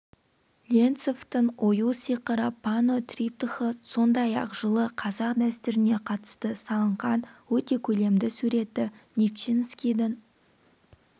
ленцовтің ою сиқыры панно-триптихы сондай-ақ жылы қазақ дәстүріне қатысты са лынған өте көлемді суретті нивчинскийдің